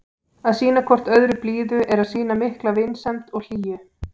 Að sýna hvort öðru blíðu er að sýna mikla vinsemd og hlýju.